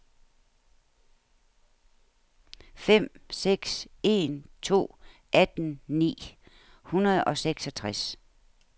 fem seks en to atten ni hundrede og seksogtres